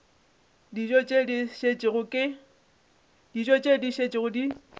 dijo tše di šetšego di